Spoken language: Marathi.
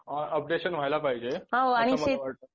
अपडेशन व्हायला पाहिजे असं मला वाटत